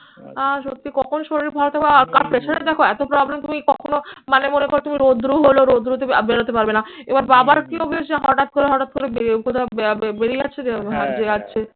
আর সত্যি কখন শরীর ভালো থাকবে আর pressure এর দেখো এত problem তুমি কখনো মানে মনে করো তুমি রৌদ্র হলো রৌদ্রতে আর বেরোতে পারবে না। এবার বাবার কি অভ্যেস যে হঠাৎ করে হঠাৎ করে বেড়ে উঠে বেরিয়ে যাচ্ছে